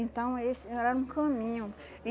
Então, esse era no caminho.